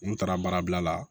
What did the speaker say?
N taara baara bila la